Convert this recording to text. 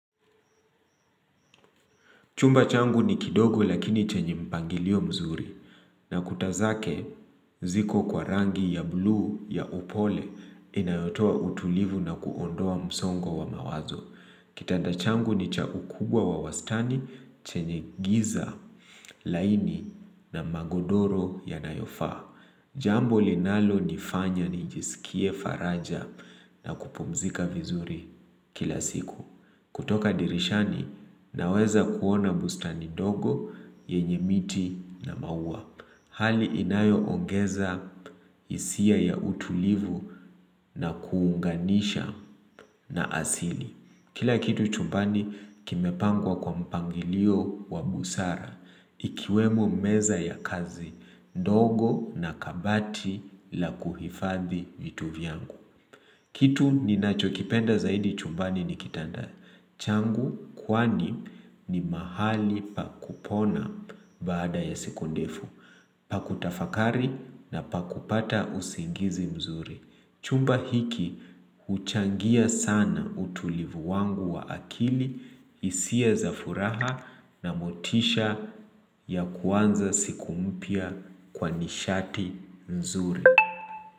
Chumba changu ni kidogo lakini chenye mpangilio mzuri na kuta zake ziko kwa rangi ya blue ya upole inayotoa utulivu na kuondoa msongo wa mawazo. Kitanda changu ni cha ukubwa wa wastani chenye giza laini na magodoro yanayofaa. Jambo linalonifanya nijisikie faraja na kupumzika vizuri kila siku. Kutoka dirishani naweza kuona bustani dogo yenye miti na maua. Hali inayo ongeza isia ya utulivu na kuunganisha na asili. Kila kitu chumbani kimepangwa kwa mpangilio wa busara ikiwemo meza ya kazi dogo na kabati la kuhifadhi vitu vyangu. Kitu ninachokipenda zaidi chumbani ni kitanda. Changu kwani ni mahali pa kupona baada ya siku ndefu. Pa kutafakari na pa kupata usingizi mzuri. Chumba hiki huchangia sana utulivu wangu wa akili hisia za furaha na motisha ya kuanza siku mpya kwa nishati nzuri.